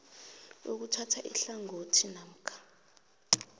ukuthatha ihlangothi namkha